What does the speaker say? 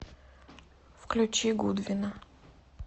включи гудвина